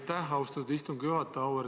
Aitäh, austatud istungi juhataja!